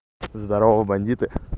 здорово бандиты